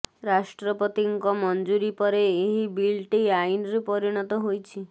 ରାଷ୍ଟ୍ରପତିଙ୍କ ମଞ୍ଜୁରୀ ପରେ ଏହି ବିଲ୍ଟି ଆଇନରେ ପରିଣତ ହୋଇଛି